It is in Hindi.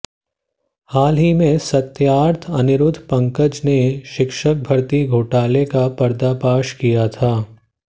हाल ही में सत्यार्थ अनिरुद्ध पंकज ने शिक्षक भर्ती घोटाले का पर्दापाश किया था